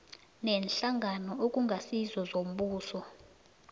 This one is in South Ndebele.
neenhlangano okungasizo zombuso